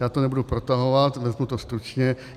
Já to nebudu protahovat, vezmu to stručně.